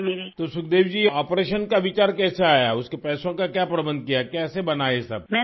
تو سکھ دیوی جی آپریشن کا خیال کیسے آیا؟ اس کے پیسوں کا کیا انتظام کیا؟ کیسے بنا یہ سب؟